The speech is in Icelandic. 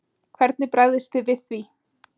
Hvernig bregðist þið við því?